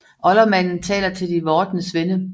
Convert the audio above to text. Oldermanden taler til de vordende svende